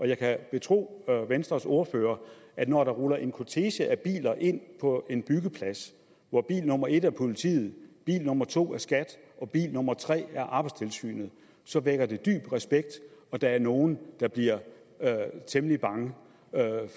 jeg kan betro venstres ordfører at når der ruller en kortege af biler ind på en byggeplads hvor bil nummer et er politiet bil nummer to er skat og bil nummer tre er arbejdstilsynet så vækker det dyb respekt og der er nogle der bliver temmelig bange